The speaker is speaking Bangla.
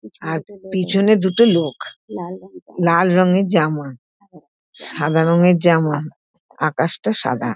আর পিছনে দুটো লোক লাল রঙের জামা সাদা রঙের জামা আকাশটা সাদা ।